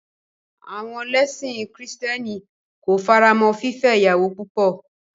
À̀wọn lẹ́sìn kìrìtẹ́nì ko faramọ́ fífẹ́ ìyàwó púpọ̀.